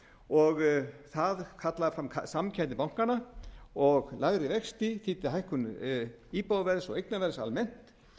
og það kallaði fram samkeppni bankanna og lægri vextir þýddu hækkun íbúðarverðs og eignaverðs almennt